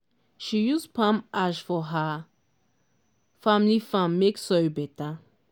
she use palm ash for her family farm make soil better.